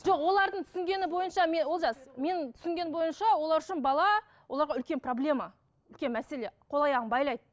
жоқ олардың түсінгені бойынша олжас менің түсінгенім бойынша олар үшін бала оларға үлкен проблема үлкен мәселе қол аяғын байлайды